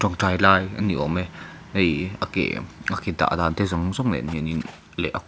tawngtai lai a ni awm e hei a ke a ke dah dan te zawng zawng nen hianin leh kut --